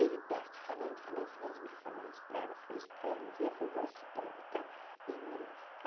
E ele perto, falando, falando, falando de mim, fala isso para ela, fala isso para ela, diga que eu gosto dela e tal e minha irmã.